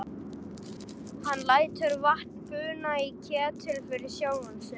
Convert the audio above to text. Hann lætur vatn buna í ketil fyrir sjálfan sig.